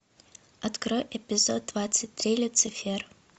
открой эпизод двадцать три люцифер